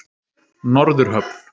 Norðurhöfn